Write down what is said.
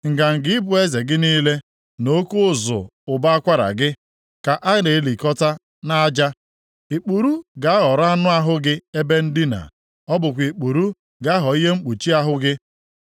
Nganga ịbụ eze gị niile, na oke ụzụ ụbọ akwara gị, ka a na-elikọta nʼaja. Ikpuru ga-aghọrọ anụ ahụ gị ebe ndina; ọ bụkwa ikpuru ga-aghọ ihe mkpuchi ahụ gị.